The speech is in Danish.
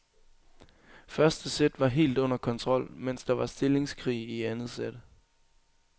Første sæt var helt under kontrol, mens der var stillingskrig i anden sæt.